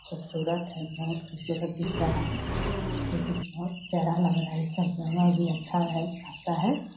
खुबसूरत है बहुत खुबसूरत दिख रहा है जो की बहुत प्यारा लग रहा है इ सब जगह भी अच्छा है खासा है।